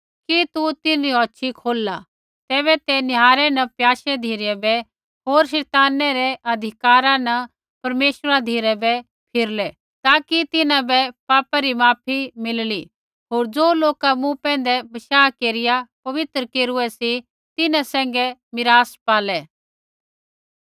कि तू तिन्हरी औछ़ी खोलला तैबै ते निहारै न प्याशै धिरै बै होर शैतानै रै अधिकारा न परमेश्वरा धिराबै फिरलै ताकि तिन्हां बै पापै री माफी मिलली होर ज़ो लोका मूँ पैंधै बशाह केरिया पवित्र केरूऐ सी तिन्हां सैंघै मीरास पालै